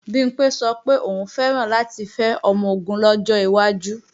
Bimpé sọ pé òun fẹ́ràn láti fẹ́ ọmọ-ogun lọ́jọ́ iwájú